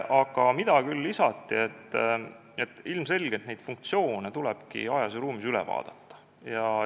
Aga lisati, et ilmselgelt tuleb need funktsioonid ajas ja ruumis üle vaadata.